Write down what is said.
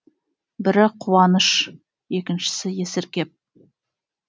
бірі қуаныш екіншісі есіркеп